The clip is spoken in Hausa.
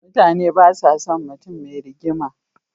Mutane basa son mutun me rigima